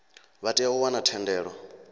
vha tea u wana thendelo